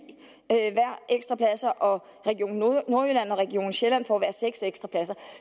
ekstra pladser og region nordjylland og region sjælland får hver seks ekstra pladser